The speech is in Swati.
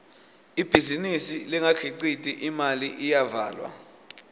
ibhizinisi lengakhiciti imali iyavalwa